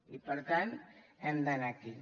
i per tant hem d’anar aquí